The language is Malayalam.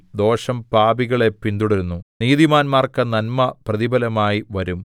ദോഷം പാപികളെ പിന്തുടരുന്നു നീതിമാന്മാർക്ക് നന്മ പ്രതിഫലമായി വരും